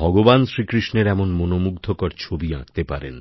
ভগবান শ্রীকৃষ্ণের এমন মনমুগ্ধকর ছবি আঁকতে পারেন